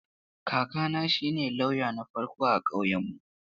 Kakana shine lauya na farko a ƙauyenmu.